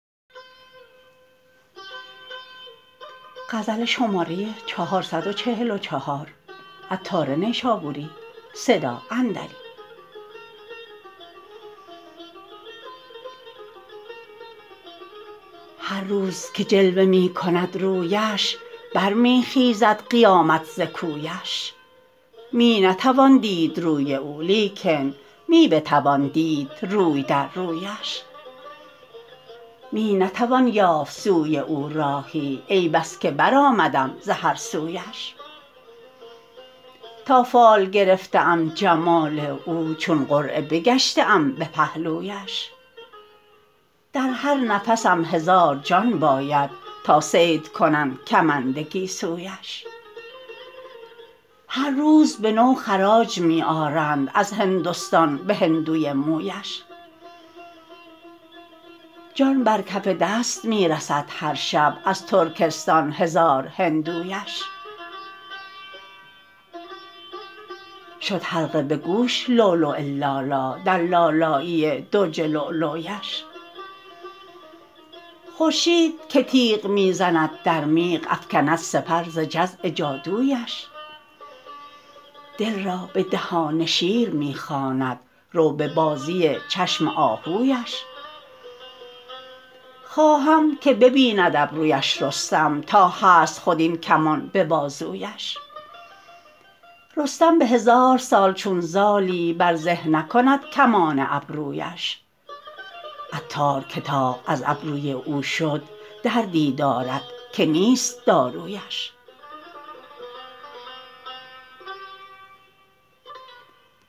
هر روز که جلوه می کند رویش بر می خیزد قیامت ز کویش می نتوان دید روی او لیکن می بتوان دید روی در رویش می نتوان یافت سوی او راهی ای بس که برآمدم ز هر سویش تا فال گرفته ام جمال او چون قرعه بگشته ام به پهلویش در هر نفسم هزار جان باید تا صید کنند کمند گیسویش هر روز به نو خراج می آرند از هندستان به هندوی مویش جان بر کف دست می رسد هر شب از ترکستان هزار هندویش شد حلقه به گوش لؤلؤ لالا در لالایی درج لولویش خورشید که تیغ می زند در میغ افکند سپر ز جزع جادویش دل را به دهان شیر می خواند رو به بازی چشم آهویش خواهم که ببیند ابرویش رستم تا هست خود این کمان به بازویش رستم به هزار سال چون زالی بر زه نکند کمان ابرویش عطار که طاق از ابروی او شد دردی دارد که نیست دارویش